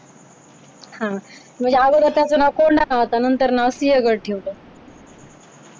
हा म्हणजे अगोदर त्याचं नाव कोंडाणा होतं नंतर सिंहगड ठेवलं.